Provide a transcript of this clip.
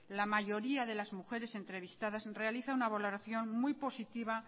la mayoría de las mujer entrevistadas realiza una valoración muy positiva